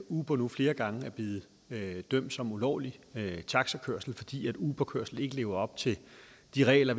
uber nu flere gange er blevet dømt som ulovlig taxakørsel fordi uberkørsel ikke lever op til de regler